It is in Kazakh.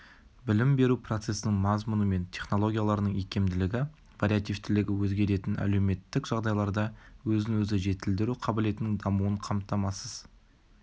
білім беру процесінің мазмұны мен технологияларының икемділігі вариативтілігі өзгеретін әлеуметтік жағдайларда өзін-өзі жетілдіру қабілетінің дамуын қамтамасыз